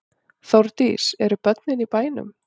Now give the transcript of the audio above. Þórdís: Eru börnin í bænum?